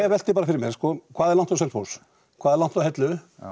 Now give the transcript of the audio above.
velti bara fyrir mér hvað er langt á Selfoss hvað er langt á Hellu